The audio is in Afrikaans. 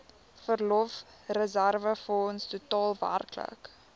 verlofreserwefonds totaal werklik